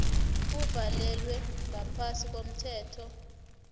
uvalelwa ngaphasi komthetho